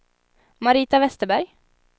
Marita Westerberg